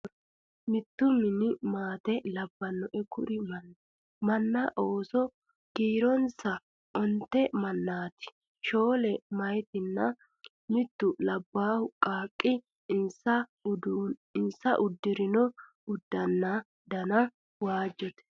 Mittu mini maate labbanoe kuri manni amanna ooso kiironsano onte mannaati shoole meyaatinna mittu labbaa qaaqqi insa uddirino uddanono dana waajjote